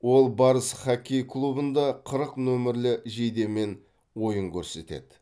ол барыс хоккей клубында қырық қырық нөмірлі жейдемен ойын көрсетеді